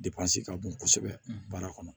ka bon kosɛbɛ baara kɔnɔ